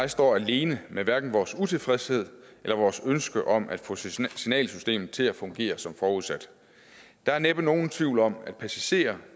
jeg står alene med hverken vores utilfredshed eller vores ønske om at få signalsystemet til at fungere som forudsat der er næppe nogen tvivl om at passagererne